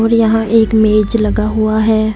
और यहां एक मेज लगा हुआ है।